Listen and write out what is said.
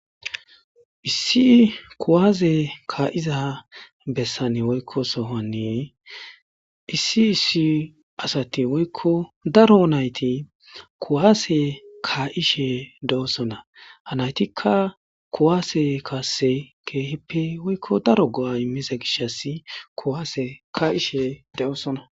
Issi kuwaaze kaa7iza bessani woykko sohoni issi issi asathi woykko daro na7ithi kuwaasee kaa7ishee doosona; ha na7ithikka kuwasee kassee keehippe woykko daro go7aaa immize gishshassi kuwaase kaa7ishe de7oosona.